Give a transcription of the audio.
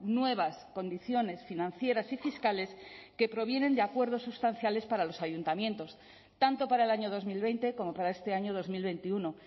nuevas condiciones financieras y fiscales que provienen de acuerdos sustanciales para los ayuntamientos tanto para el año dos mil veinte como para este año dos mil veintiuno